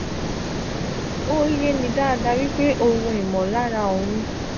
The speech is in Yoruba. o ye ni dada wipe ohun imolara ohun.